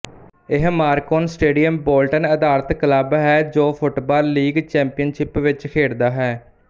ਇਹ Macron stadium Bolton ਅਧਾਰਤ club ਹੈ ਜੋ ਫੁੱਟਬਾਲ ਲੀਗ ਚੈਮਪੀਅਨਸ਼ਿਪ ਵਿੱਚ ਖੇਡਦਾ ਹੈ